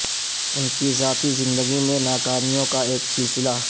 ان کی ذاتی زندگی میں ناکامیوں کا ایک سلسلہ